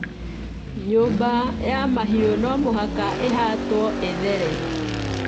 Nyũmba ya mahiũ no mũhaka ĩhatwo ĩthere.